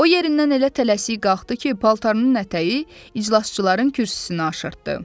O yerindən elə tələsik qalxdı ki, paltarının ətəyi iclasçıların kürsüsünü aşırdı.